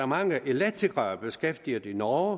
mange elektrikere beskæftiget i norge